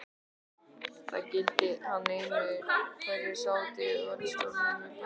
Það gilti hann einu, hverjir sátu í valdastólum í Berlín.